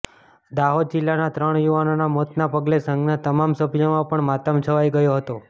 દાહોદ જિલ્લાના ત્રણ યુવાનોના મોતના પગલે સંઘના તમામ સભ્યોમા પણ માતમ છવાઇ ગયો હતો